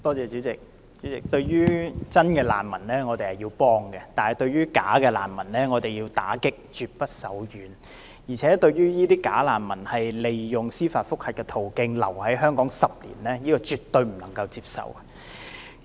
主席，對於真正的難民，我們是要幫助的，但對於假難民，我們要打擊，絕不手軟，而且對於這些假難民利用司法覆核這途徑，逗留香港10年，這是絕對不能接受的。